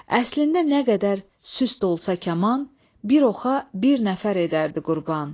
Əslində nə qədər süst olsa kaman, bir oxa bir nəfər edərdi qurban.